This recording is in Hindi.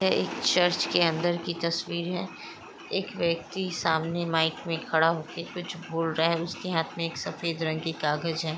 यह एक चर्च के अंदर की तस्वीर हैं एक व्यक्ति सामने माइक में खड़ा हो के कुछ बोल राहा हैं उसके हाथ में एक सफेद रंग की काग़ज हैं।